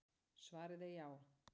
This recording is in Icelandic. Svarið er já.